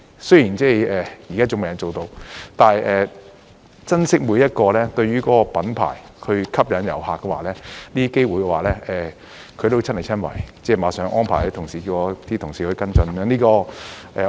雖然現在尚未能夠做到，但他珍惜每一個能幫忙這個品牌吸引遊客的機會，都會親力親為，並已立刻安排他的同事與我的同事跟進。